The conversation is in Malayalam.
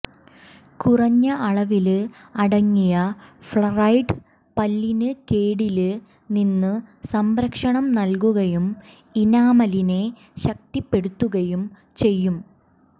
കുറഞ്ഞ അളവില് അടങ്ങിയ ഫ്ലറൈഡ് പല്ലിന് കേടില് നിന്ന് സംരക്ഷണം നല്കുകയും ഇനാമലിനെ ശക്തിപ്പെടുത്തുകയും ചെയ്യും